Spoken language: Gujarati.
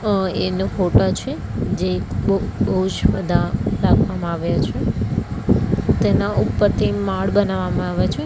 અહ એનો ફોટા છે જે બ બૌજ બધા રાખવામાં આવ્યા છે તેના ઉપરથી માડ બનાવવામાં આવે છે.